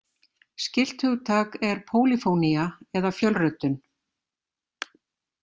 Skylt hugtak er pólýfónía eða fjölröddun.